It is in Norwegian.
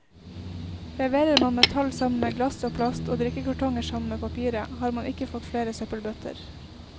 Leverer man metall sammen med glass og plast, og drikkekartonger sammen med papiret, har man ikke fått flere søppelbøtter.